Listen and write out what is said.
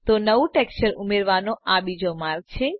તો નવું ટેક્સચર ઉમેરવાનો આ બીજો માર્ગ છે